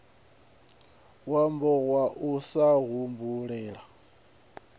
wambo wa u sa humbulela